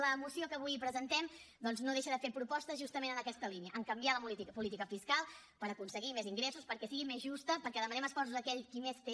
la moció que avui presentem doncs no deixa de fer propostes justament en aquesta línia canviar la política fiscal per aconseguir més ingressos perquè sigui més justa perquè demanem esforços a aquell qui més té